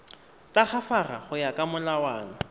tagafara go ya ka molawana